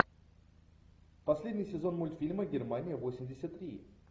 последний сезон мультфильма германия восемьдесят три